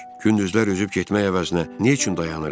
Gündüzlər üzüb getmək əvəzinə nə üçün dayanırıq?